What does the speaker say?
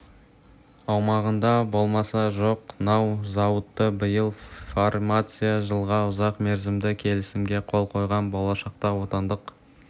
аумағында баламасы жоқ нау зауыты биыл фармация жылға ұзақ мерзімді келісімге қол қойған болашақта отандық